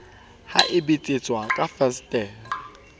ha e betsetswa ka fensetere